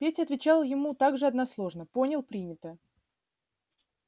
петя отвечал ему так же односложно понял принято